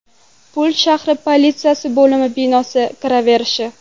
Pul shahri politsiyasi bo‘limi binosi kiraverishi.